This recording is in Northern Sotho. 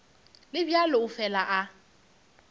le bjalo o fela a